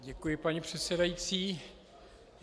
Děkuji, paní předsedající.